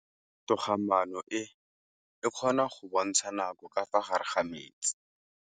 Toga-maanô e, e kgona go bontsha nakô ka fa gare ga metsi.